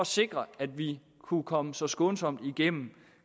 sikre at vi kunne komme så skånsomt igennem